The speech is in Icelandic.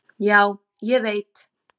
"""Já, ég veit"""